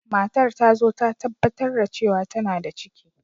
Matar ta zo ta tabbatar da cewa tana da ciki.